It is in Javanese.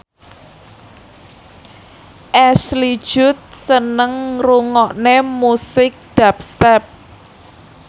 Ashley Judd seneng ngrungokne musik dubstep